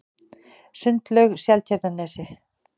Sundlaug Seltjarnarnesi